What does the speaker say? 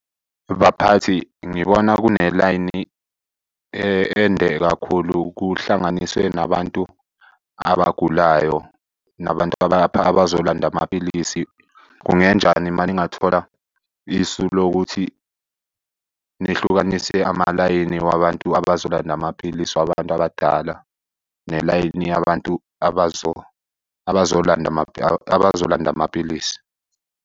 Baphathi ngibona kune-line ende kakhulu. Kuhlanganiswe nabantu abagulayo, nabantu abazolanda amapilisi. Kungenjani uma ningathola isu lokuthi nihlukanise amalayini wabantu abazolanda amaphilisi wabantu abadala, nelayini yabantu abazolanda amapilisi.